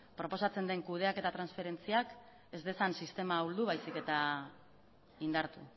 proposatzen den kudeaketa transferentziak ez dezan sistema ahuldu baizik eta indartu